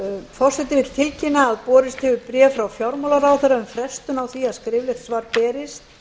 forseti vill tilkynna að borist hefur bréf frá fjármálaráðherra um frestun á því að skriflegt svar berist